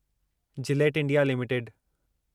Gillette India limited